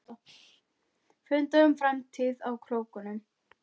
Fundað um framtíð á Króknum